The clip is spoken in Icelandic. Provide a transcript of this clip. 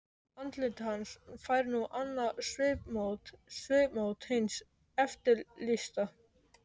Andlit hans fær nú annað svipmót- svipmót hins eftirlýsta.